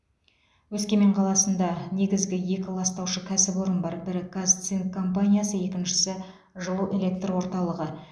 өскемен қаласында негізгі екі ластаушы кәсіпорын бар бірі қазцинк компаниясы екіншісі жылу электр орталығы